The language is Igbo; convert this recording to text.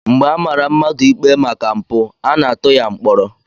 Mgbe a mara mmadụ ikpe maka mpụ, a na-atụ ya mkpọrọ